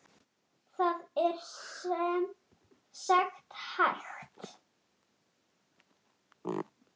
Elsku afi Guðni.